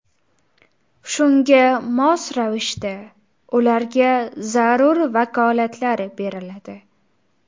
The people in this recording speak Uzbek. Shunga mos ravishda ularga zarur vakolatlar beriladi.